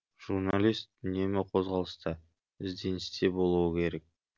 жүрналист үнемі қозғалыста ізденісте болуы керек